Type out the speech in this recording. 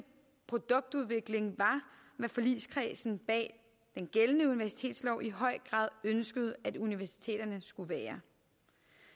produktudvikling var hvad forligskredsen bag den gældende universitetslov i høj grad ønskede at universiteterne skulle være